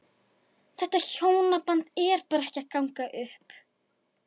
Þetta hjónaband er bara ekki að ganga upp.